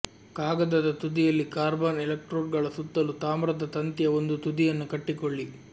ಕಾಗದದ ತುದಿಯಲ್ಲಿ ಕಾರ್ಬನ್ ಎಲೆಕ್ಟ್ರೋಡ್ಗಳ ಸುತ್ತಲೂ ತಾಮ್ರದ ತಂತಿಯ ಒಂದು ತುದಿಯನ್ನು ಕಟ್ಟಿಕೊಳ್ಳಿ